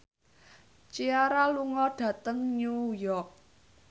Ciara lunga dhateng New York